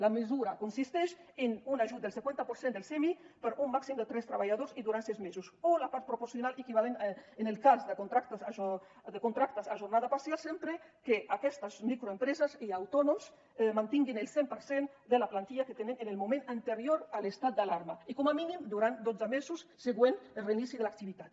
la mesura consisteix en un ajut del cinquanta per cent del smi per un màxim de tres treballadors i durant sis mesos o la part proporcional equivalent en el cas de contractes a jornada parcial sempre que aquestes microempreses i autònoms mantinguin el cent per cent de la plantilla que tenien en el moment anterior a l’estat d’alarma i com a mínim durant els dotze mesos següents al reinici de l’activitat